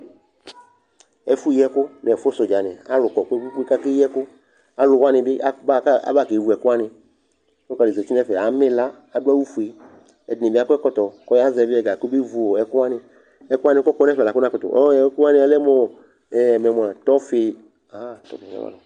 Ɛfʋyiɛkʋ nʋ ɛsɛʋdzanɩ kʋ alʋ kɔ kpe-kpe-kpe kʋ akeyi ɛkʋ Alʋ wu ɛkʋ wanɩ bɩ a bʋa kʋ abakewu ɛkʋ wanɩ Kpakpa dɩ zati nʋ ɛfɛ amɛ ɩla Adʋ awʋfue Ɛdɩnɩ bɩ akɔ ɛkɔtɔ kʋ ɔyazɛvɩ ɛga kɔbevu ɔ ɛkʋ wanɩ Ɛkʋ wanɩ kʋ ɔkɔ nʋ ɛfɛ la kʋ nɩnakʋtʋ ɔɔ ɛkʋ wanɩ yalɛ mʋ ɔ ɛɛ mɛmʋ a, tɔfɩ